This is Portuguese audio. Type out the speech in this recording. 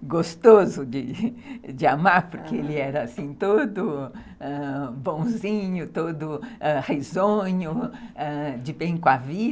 gostoso de amar, porque ele era todo ãh bonzinho, todo risonho, de bem com a vida...